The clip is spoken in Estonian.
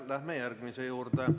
Läheme järgmise küsimuse juurde.